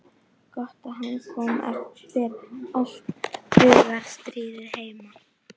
Gott að hann kom eftir allt hugarstríðið heima.